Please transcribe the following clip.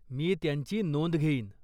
मी त्यांची नोंद घेईन.